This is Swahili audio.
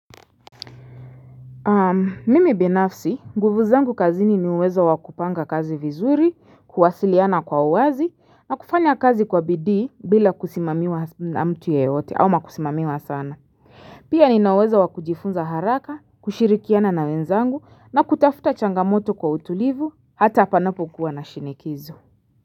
Mimi binafsi, nguvu zangu kazini ni uweza wakupanga kazi vizuri, kuwasiliana kwa uwazi, na kufanya kazi kwa bidii bila kusimamiwa na mtu yeyote, au wakusimamiwa sana. Pia ninauweza wakujifunza haraka, kushirikiana na wenzangu, na kutafuta changamoto kwa utulivu, hata panapo kuwa na shinikizo.